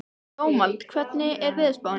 Dómald, hvernig er veðurspáin?